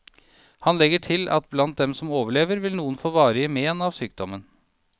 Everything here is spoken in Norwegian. Han legger til at blant dem som overlever, vil noen få varige mén av sykdommen.